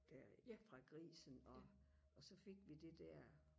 der fra grisen og og så fik vi det der